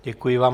Děkuji vám.